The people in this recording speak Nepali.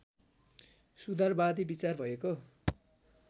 सुधारवादी विचार भएको